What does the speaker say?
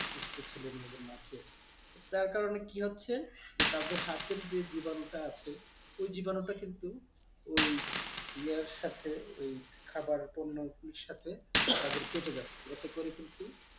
ছোট ছোট ছেলে মেয়েদের মাঝে তার কারণে কি হচ্ছে তাদের হাতের যে জীবাণুটা আছে ওই জীবাণুটা কিন্তু ওই ইয়ার সাথে ওই খাবার পণ্য সাথে তাদের পেটে যাচ্ছে এতে করে কিন্তু